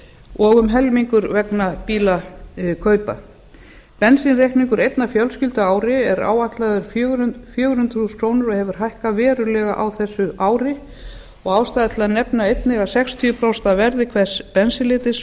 og um helmingur vegna bílakaupa bensínreikningur einnar fjölskyldu á ári er áætlaður fjögur hundruð þúsund krónur og hefur hækkað verulega á þessu ári og ástæða til að nefna einnig að sextíu prósent af verði hvers bensínlítra